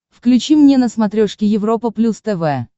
включи мне на смотрешке европа плюс тв